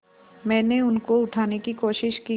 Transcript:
मैंने उनको उठाने की कोशिश की